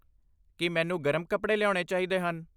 ਕੀ ਮੈਨੂੰ ਗਰਮ ਕੱਪੜੇ ਲਿਆਉਣੇ ਚਾਹੀਦੇ ਹਨ?